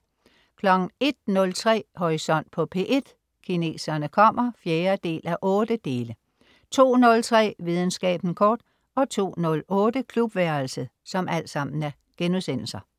01.03 Horisont på P1: Kineserne kommer 4:8* 02.03 Videnskaben kort* 02.08 Klubværelset*